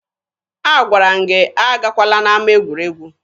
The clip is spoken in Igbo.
Agwara m gị agakwala n'ama egwuregwu!